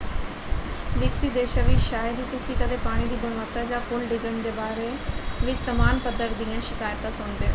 ਵਿਕਸਿਤ ਦੇਸ਼ਾਂ ਵਿੱਚ ਸ਼ਾਇਦ ਹੀ ਤੁਸੀਂ ਕਦੇ ਪਾਣੀ ਦੀ ਗੁਣਵੱਤਾ ਜਾਂ ਪੁਲ ਡਿੱਗਣ ਦੇ ਬਾਰੇ ਵਿੱਚ ਸਮਾਨ ਪੱਧਰ ਦੀਆਂ ਸ਼ਿਕਾਇਤਾਂ ਸੁਣਦੇ ਹੋ।